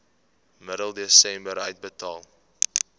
middel desember uitbetaal